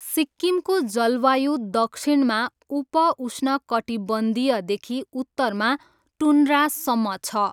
सिक्किमको जलवायु दक्षिणमा उप उष्णकटिबन्धीयदेखि उत्तरमा टुन्ड्रासम्म छ।